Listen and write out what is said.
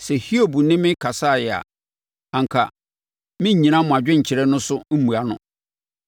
Sɛ Hiob ne me kasaeɛ a, anka merennyina mo adwenkyerɛ no so mmua no.